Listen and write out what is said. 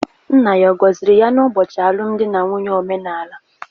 Nna ya ọ̀ gọziri ya n'ụbọchị alụmdi na nwunye omenala?